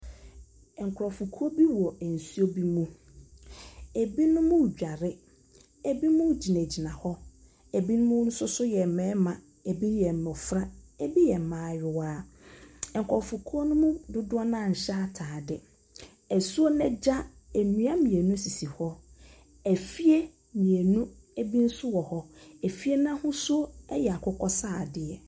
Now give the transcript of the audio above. Nkurɔfokuo bi wɔ nsuo bi mu. Ebinom redware, ebinom gyinagyina hɔ. Ebinom nso so yɛ mmarima, ebi yɛ mmɔfra, ebi yɛ mmayewa. Nkurofokuo no mu dodoɔ no ara nhyɛ atade. Asuo no agya, nnua mmienu sisi hɔ. Afie mmienu bi nso wɔ hɔ. Efie no ahosuo yɛ akokɔ sradeɛ.